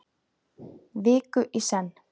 Viku í senn.